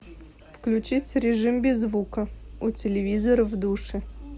включить режим без звука у телевизора в душе